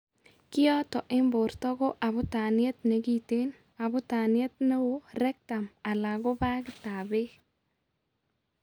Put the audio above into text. Kioto eng' borto ko aabutaniet nekiten, abutaniet neoo, rectum ala ko baakit ab beek